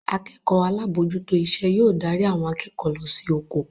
Akẹ́kọ̀ọ́ alábòójútó iṣẹ́ yóò darí àwọn akẹ́kọ̀ọ́ lọ sí ojo